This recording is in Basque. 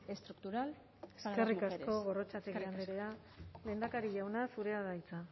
estructural para las mujeres eskerrik asko gorrotxategi andrea lehendakari jauna zurea da hitza